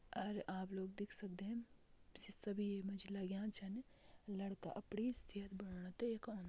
और आप लोग देख सकदें सीसा भी मजेय लाग्यां छिन लड़का अपणी सेहत बनाने यख औंद।